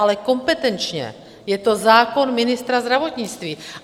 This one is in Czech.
Ale kompetenčně je to zákon ministra zdravotnictví.